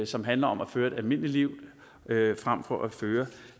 som handler om at føre et almindeligt liv frem for at føre